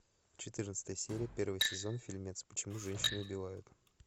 четырнадцатая серия первый сезон фильмец почему женщины убивают